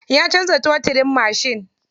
Ya canza totirin mashin.